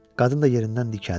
Qadın da yerindən dikəldi.